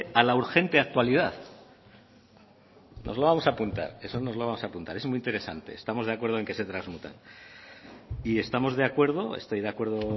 a la urgente actualidad lo vamos a apuntar eso es muy interesante estamos de acuerdo en que se transmutan y estamos de acuerdo estoy de acuerdo